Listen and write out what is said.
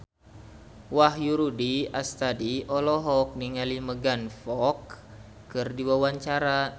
Wahyu Rudi Astadi olohok ningali Megan Fox keur diwawancara